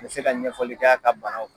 N bɛ se ka ɲɛfɔli kɛ a ka banaw kan